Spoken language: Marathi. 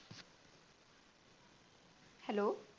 HELLO